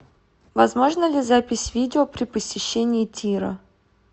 возможна ли запись видео при посещении тира